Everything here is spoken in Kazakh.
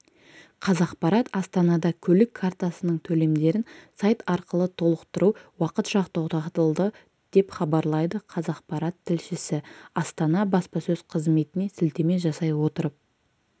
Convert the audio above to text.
қазақпарат астанада көлік картасының төлемдерін сайт арқылы толықтыру уақытша тоқтатылды деп хабарлайды қазақпарат тілшісі астана баспасөз қызметіне сілтеме жасай отырып